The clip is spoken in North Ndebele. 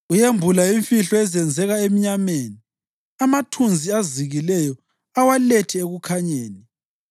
Uyembula imfihlo ezenzeka emnyameni amathunzi azikileyo awalethe ekukhanyeni.